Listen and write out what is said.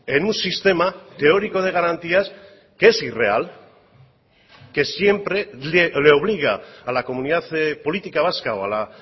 en un sistema teórico de garantías que es irreal que siempre le obliga a la comunidad política vasca o a la